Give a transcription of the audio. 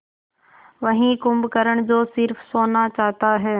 वही कुंभकर्ण जो स़िर्फ सोना चाहता है